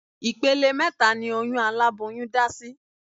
Ìpele mẹ́ta ni oyún aláboyún dá sí